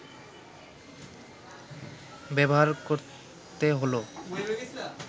ব্যবহার করতে হলো